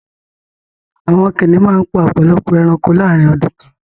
Àwọn kìnnìún màá n pa ọpọ̀lọpọ̀ èránkò láàrín ọdún kan